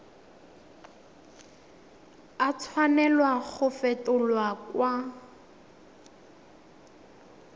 a tshwanela go fetolwa kwa